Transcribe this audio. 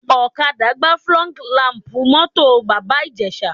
Ọ̀kadà gbá fọ́g làm̀pù mọ́tò Bàbá Ìjẹ̀ṣà